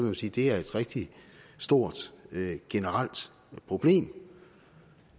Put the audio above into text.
vil sige er et rigtig stort generelt problem